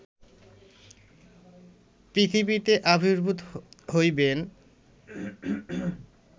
পৃথিবীতে আবির্ভূত হইবেন